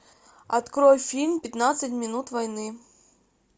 открой фильм пятнадцать минут войны